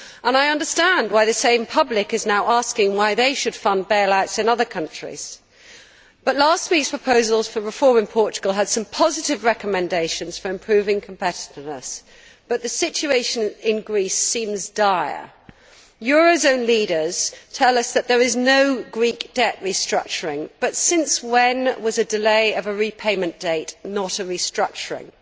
I understand why the same public is now asking why they should fund bail outs in other countries. Last week's proposals for reform in Portugal had some positive recommendations for improving competitiveness, but the situation in Greece seems dire. Eurozone leaders tell us that there is no Greek debt restructuring, but since when is a delay of a repayment date not a restructuring?